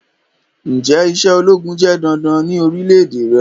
Njẹ iṣẹ ologun jẹ dandan ni orilẹ-ede rẹ?